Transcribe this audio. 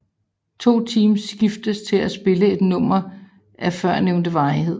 De to teams skiftes til at spille et nummer af førnævnte varighed